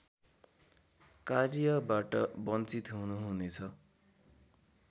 कार्यबाट बञ्चित हुनुहुनेछ